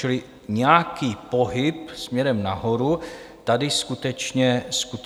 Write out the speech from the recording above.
Čili nějaký pohyb směrem nahoru tady skutečně nastal.